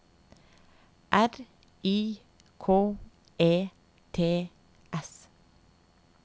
R I K E T S